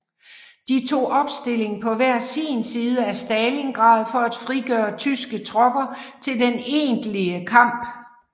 De tog opstilling på hver sin side af Stalingrad for at frigøre tyske tropper til den egentlige kamp